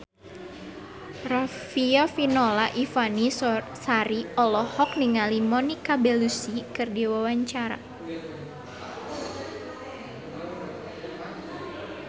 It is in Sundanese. Riafinola Ifani Sari olohok ningali Monica Belluci keur diwawancara